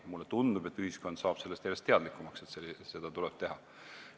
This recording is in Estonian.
Mulle tundub, et ühiskond saab järjest teadlikumaks, et seda tuleb teha.